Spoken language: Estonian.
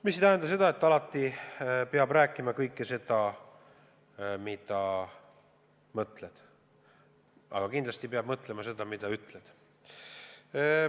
See ei tähenda seda, et alati peab rääkima kõike seda, mida mõtled, aga kindlasti pead mõtlema, mida ütled.